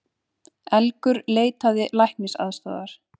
Elgur leitaði læknisaðstoðar